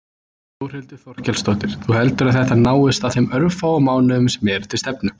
Þórhildur Þorkelsdóttir: Þú heldur að þetta náist á þeim örfáu mánuðum sem eru til stefnu?